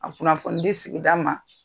A kunnafoni di sigida ma.